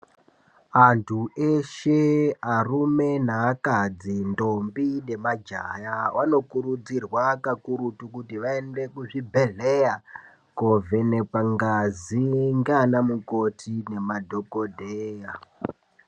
Andu eshe arume neakadzi ndombi nemajaha vanokurudzirwa kakurutu kuti vaende kuzvibhedhlera kovhenekwa ngazi nganamukoti nemadhokodheya.